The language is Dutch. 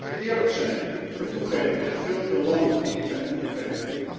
Laten we eerlijk zijn en toegeven dat er veel te veel landen zijn toegetreden.